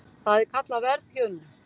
það er kallað verðhjöðnun